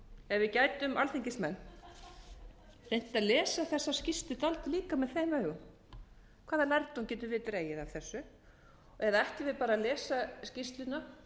ef við gætum alþingismenn reynt að lesa þessa skýrslu dálítið líka með þeim augum hvaða lærdóm getum við dregið af þessu eða ætlum við bara að lesa skýrsluna